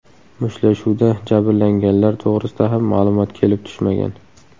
Mushtlashuvda jabrlanganlar to‘g‘risida ham ma’lumot kelib tushmagan.